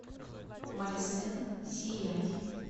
мари сенн сияй